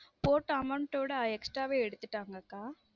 Photo amount ஆ விட extra வே எடுத்துட்டாங்க அக்கா.